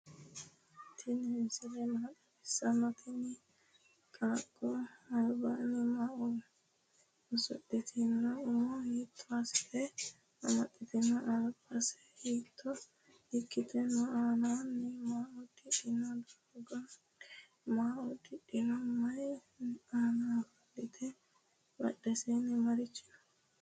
tini misile maa xawisanote? tini qaaqo albaho maa uusudhitino? umo hito asite amaaxitino? albase hiito ikkite no?aanani maa uddidhino? gidonni maa uddidhino? mayi anna offoltino? badheseni marichi no?